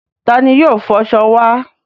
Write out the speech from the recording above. Ta ni yóò fọṣọ wa?